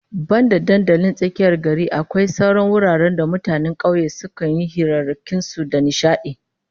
Banda dandalin tsakiyar gari, akwai sauran wuraren da mutanen kauye sukan yi hirarrakin su da nishadi